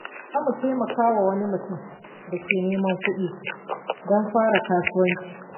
Za mu taimaki wani mutum da ke neman kuɗi don fara kasuwanci.